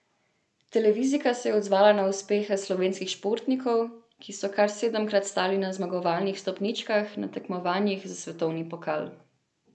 Televizijka se je odzvala na uspehe slovenskih športnikov, ki so kar sedemkrat stali na zmagovalnih stopničkah na tekmovanjih za svetovni pokal.